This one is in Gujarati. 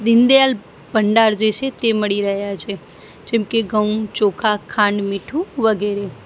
દીનદયાલ ભંડાર જે છે તે મળી રહ્યા છે જેમકે ઘઉં ચોખા ખાંડ મીઠુ વગેરે.